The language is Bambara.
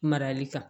Marali kan